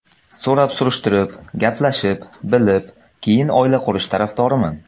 So‘rab-surishtirib, gaplashib, bilib, keyin oila qurish tarafdoriman.